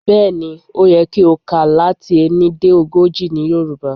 Bẹ̀́ẹ̀ ni, ó yẹ kí o kà á láti ení dé ogójì ní Yorùbá.